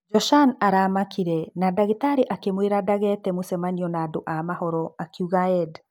Joshan aramakire na ndagĩtari akĩmwĩra ndageete mũcemanio na andũ a mohoro, akĩuga Edd.